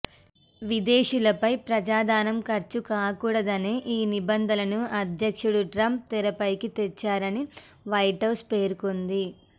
విదేశీయులపై ప్రజాధనం ఖర్చుకాకూడదనే ఈ నిబంధనలను అధ్యక్షుడు ట్రంప్ తెరపైకి తెచ్చారని వైట్హౌజ్ పేర్కొంది